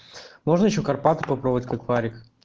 можно ещё карпаты попробовать как варик